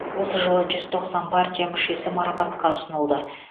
осы жылы жүз тоқсан партия мүшесі марапатқа ұсынылды